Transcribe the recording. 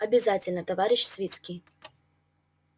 обязательно товарищ свицкий